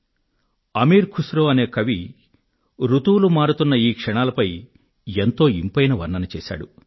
కవి అమీర్ ఖుస్ రో ఋతువులు మారుతున్న ఈ క్షణాలపై ఎంతో ఇంపైన వర్ణన చేశారు